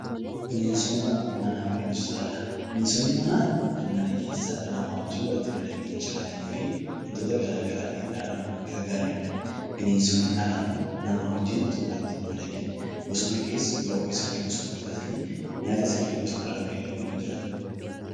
Bineensonni manaa kan nama waliin mana keessa madaqanii jiraatanii fi bifa garaagaraatiin dhala namaa kan gargaaranidha. Bineensonni alaa immoo nama wajjin osoo walitti hin madaqiin bosona keessa nyaata isaanii illee bosonarraa argatanii kan jiraatanidha